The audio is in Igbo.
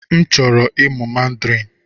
M chọwara ịmụ Mandarin.